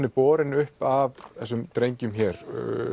er borin uppi af þessum drengjum hér